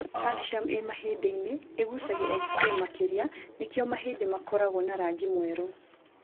Calcium ĩ mahĩndĩ-inĩ ĩgucagia xray makĩria nĩkĩo mahĩndĩ makoragwo na rangi mwerũ.